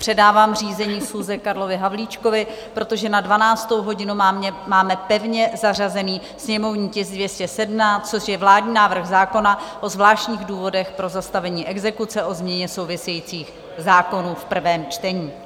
Předávám řízení schůze Karlovi Havlíčkovi, protože na 12. hodinu máme pevně zařazený sněmovní tisk 217, což je vládní návrh zákona o zvláštních důvodech pro zastavení exekuce o změně souvisejících zákonů v prvém čtení.